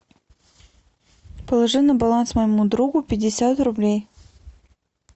положи на баланс моему другу пятьдесят рублей